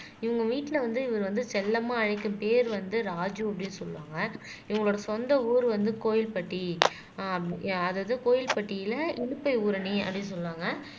இவங்க வீட்டுல வந்து இவரு வந்து செல்லமா அழைக்கும் பேர் வந்து ராஜூ அப்படின்னு சொல்லுவாங்க இவங்களோட சொந்த ஊர் வந்து கோவில்பட்டி ஆஹ் அதாவது கோவில்பட்டியில இலுப்பை ஊரணி அப்படின்னு சொல்லுவாங்க